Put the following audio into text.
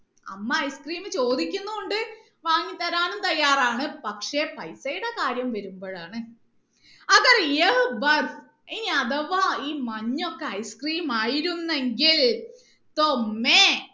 അമ്മ ice cream ചോദിക്കുന്നുണ്ട് വാങ്ങിത്തരാനും തയ്യാറാണ് പക്ഷെ പൈസയുടെ കാര്യം വരുമ്പോഴാണ് ഇനി അഥവാ ഈ മഞ്ഞ് ഒക്കെ ice cream ആയിരുന്നെങ്കിൽ